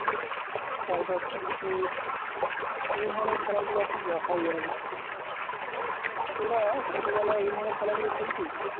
তারপর কিৎকিৎ এই ধরনের খেলা গুলো এখন দেখাই যায় না তোরা ছোটবেলায় এ ধরনের খেলা গুলো খেলতি?